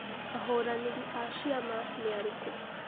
Ahũranĩri a ciama nĩarĩku ?